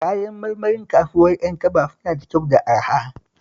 Kayan marmarin kasuwar Yankaba suna da kyau da araha